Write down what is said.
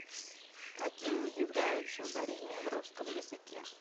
каким не является ударение в русском языке